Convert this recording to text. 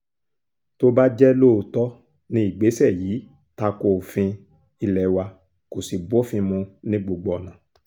tó bá jẹ́ lóòótọ́ ni ìgbésẹ̀ yìí ta ko òfin ilé wa kó sì bófin mu ní gbogbo ọ̀nà